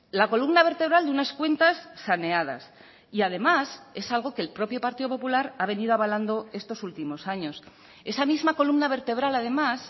la columna vertebral de unas cuentas saneadas y además es algo que el propio partido popular ha venido avalando estos últimos años esa misma columna vertebral además